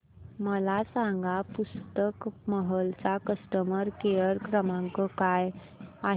मला सांगा पुस्तक महल चा कस्टमर केअर क्रमांक काय आहे